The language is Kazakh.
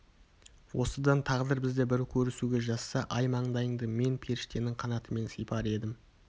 осыдан тағдыр бізді бір көрісуге жазса ай маңдайыңды мен періштенің қанатымен сипар едім